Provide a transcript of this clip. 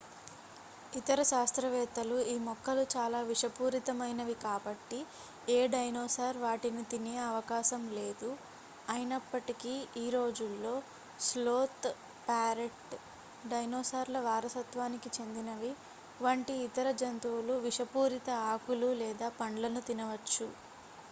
ఇతర శాస్త్రవేత్తలు ఈ మొక్కలు చాలా విషపూరితమైనవి కాబట్టి ఏ డైనోసార్ వాటిని తినే అవకాశం లేదు అయినప్పటికీ ఈ రోజులలో స్లోత్ ప్యారెట్ డైనోసార్ల వారసత్వానికి చెందినవి వంటి ఇతర జంతువులు విషపూరిత ఆకులు లేదా పండ్లను తినవచ్చు